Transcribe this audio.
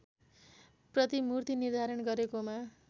प्रतिमुर्ति निर्धारण गरेकोमा